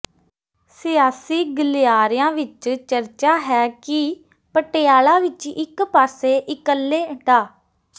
ਸਿਆਸੀ ਗਲਿਆਰਿਆਂ ਵਿਚ ਚਰਚਾ ਹੈ ਕਿ ਪਟਿਆਲਾ ਵਿਚ ਇਕ ਪਾਸੇ ਇਕੱਲੇ ਡਾ